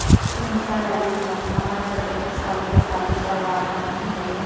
Dhindsa rally ਸਬੰਧੀ ਅਮਰਗੜ੍ਹ ਦੇ ਟਕਸਾਲੀ ਅਕਾਲੀ ਪਰਿਵਾਰਾਂ ਨੂੰ ਮਿਲੇ